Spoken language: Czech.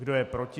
Kdo je proti?